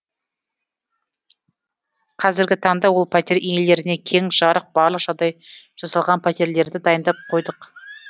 қазіргі таңда ол пәтер иелеріне кең жарық барлық жағдай жасалған пәтерлерді дайындап қойдық